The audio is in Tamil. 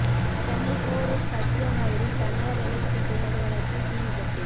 சென்னை போரூர் சத்யா நகரில் தனியார் எலெக்ட்ரிகல் நிறுவனத்தில் தீ விபத்து